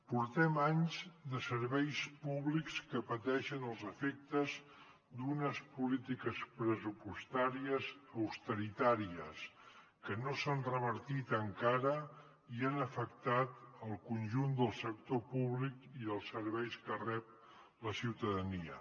portem anys de serveis públics que pateixen els efectes d’unes polítiques pressupostàries austeritàries que no s’han revertit encara i han afectat el conjunt del sector públic i els serveis que rep la ciutadania